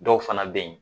Dɔw fana bɛ yen